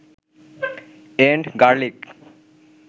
and garlic